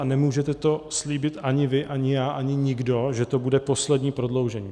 A nemůžete to slíbit ani vy, ani já, ani nikdo, že to bude poslední prodloužení.